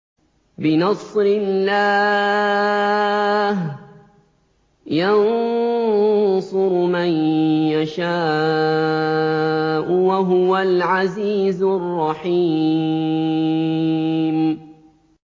بِنَصْرِ اللَّهِ ۚ يَنصُرُ مَن يَشَاءُ ۖ وَهُوَ الْعَزِيزُ الرَّحِيمُ